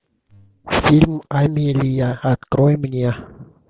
фильм амелия открой мне